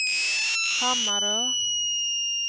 Hammarö